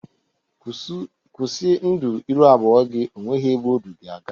Kwusi ndu ịrụ abụọ gi! O nweghị ebe o du gị aga!